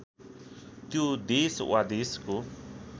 त्यो देश वा देशको